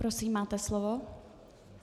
Prosím, máte slovo.